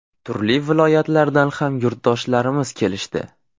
Turli viloyatlardan ham yurtdoshlarimiz kelishdi.